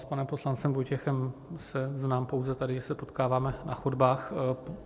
S panem poslancem Vojtěchem se znám pouze tady, jak se potkáváme na chodbách.